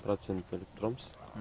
процент беріп тұрамыз